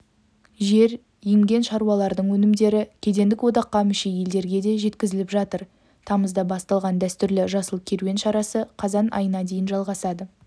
жер емген шаруалардың өнімдері кедендік одаққа мүше елдерге де жеткізіліп жатыр тамызда басталған дәстүрлі жасыл керуен шарасы қазан айына дейін жалғасады